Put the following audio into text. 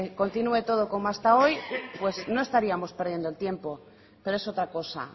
continúe todo como hasta hoy pues no estaríamos perdiendo el tiempo pero es otra cosa